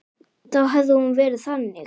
Þá hefði hún verið þannig: